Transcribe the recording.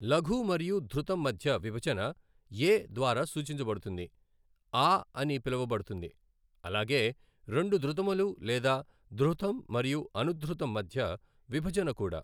లఘు మరియు ధృతం మధ్య విభజన ఏ ద్వారా సూచించబడుతుంది, ఆ అని పిలువబడుతుంది, అలాగే రెండు ద్రుతములు లేదా ధృతం మరియు అనుధృతం మధ్య విభజన కూడా.